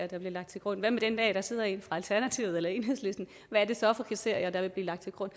der bliver lagt til grund hvad med den dag der sidder en fra alternativet eller enhedslisten hvad er det så for kriterier der vil blive lagt til grund